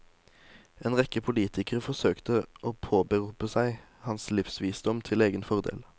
En rekke politikere forsøkte å påberope seg hans livsvisdom til egen fordel.